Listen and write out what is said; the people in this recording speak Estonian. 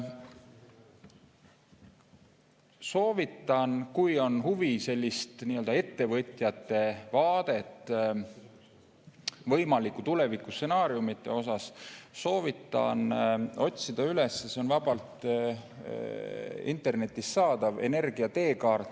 Soovitan, kui on huvi teada saada nii-öelda ettevõtjate vaadet võimalikele tulevikustsenaariumidele, otsida üles – see on vabalt internetist saadav – "Energia teekaart".